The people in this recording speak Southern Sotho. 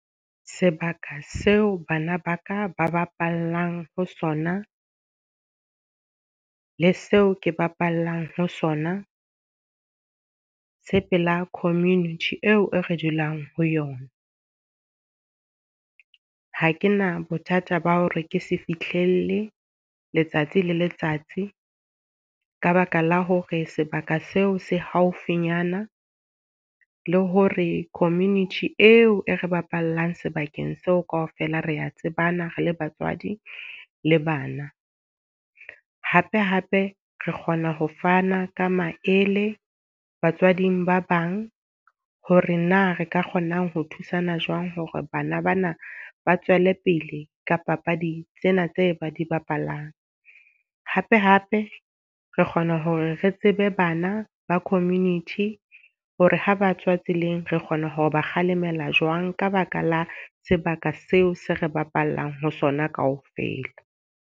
Sebaka seo bana ba ka ba bapalang ho sona, le seo ke bapalang ho sona, se pela community eo e re dulang ho yona. Ha ke na bothata ba hore ke se fihlelle letsatsi le letsatsi, ka baka la hore sebaka seo se haufinyana. Le hore community eo e re bapallang sebakeng seo ka ofela re tsebana re le batswadi le bana. Hape hape re kgona ho fana ka maele batswading ba bang, hore na re ka kgonang ho thusana jwang hore bana bana ba tswele pele ka papadi tsena tse ba di bapalang. Hape hape re kgona hore re tsebe bana ba community hore ha batswa tseleng re kgona hore ba kgalemela jwang ka baka la sebaka seo se re bapallang ho sona ka ofela.